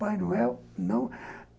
Pai Noel, não.